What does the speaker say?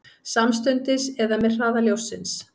Samstundis eða með hraða ljóssins?